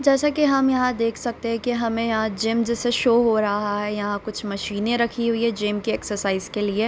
जैसा कि हम यहाँ देख सकते हैं कि हमें यहाँ जिम जैसा शो हो रहा है यहाँ कुछ मशीनें रखीं हुई हैं जिम के एक्सरसाइज के लिए।